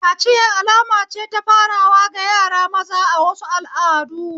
Kaciya alama ce ta farawa ga yara maza a wasu al'adu.